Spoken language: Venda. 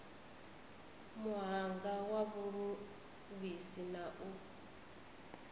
muhanga wa vhuluvhisi na u